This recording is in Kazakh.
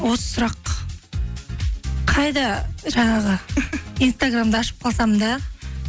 осы сұрақ қайда жаңағы инстаграмды ашып қалсам да